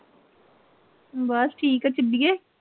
ਬਸ ਠੀਕ ਆ ਟਿੱਡੀਏ